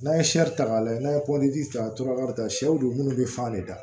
N'a ye ta k'a lajɛ n'a ye ta ka taa sɛw don munnu be fan de da